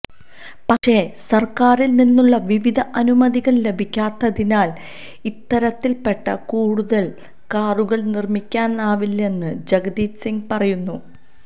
പക്ഷേ സർക്കാരിൽ നിന്നുള്ള വിവിധ അനുമതികൾ ലഭിക്കാത്തതിനാൽ ഇത്തരത്തിൽപെട്ട കൂടുതൽ കാറുകൾ നിർമിക്കാനാവില്ലെന്നു ജഗ്ജിത് സിങ് പറയുന്നു